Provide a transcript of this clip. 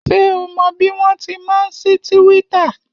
Ṣé o mọ bí wọ́n ti máa ń sí tíwíttà?